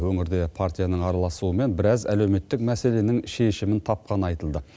өңірде партияның араласуымен біраз әлеуметтік мәселенің шешімін тапқаны айтылды